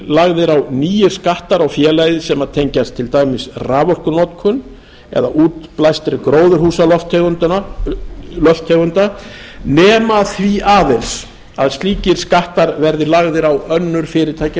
á nýir skattar á félagið sem tengjast til dæmis raforkunotkun eða útblæstri gróðurhúsalofttegunda nema því aðeins að slíkir skattar verði lagðir á önnur fyrirtæki í